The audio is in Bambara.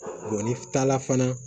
n'i taala fana